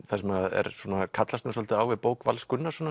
það sem kallast svolítið á við bók Vals Gunnarssonar